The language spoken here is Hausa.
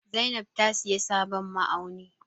Zainab ta sayi sabon ma'auni.